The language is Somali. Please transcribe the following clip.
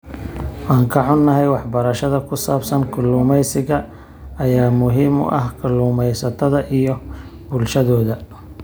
Waan ka xunnahay, waxbarashada ku saabsan kalluumeysiga ayaa muhiim u ah kalluumeysatada iyo bulshadooda.